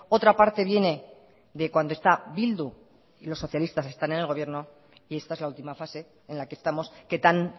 otra parte viene de cuando está bildu y los socialistas están en el gobierno y esta es la última fase en la que estamos que tan